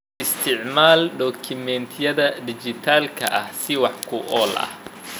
Isticmaal dukumentiyada dhijitaalka ah si wax ku ool ah.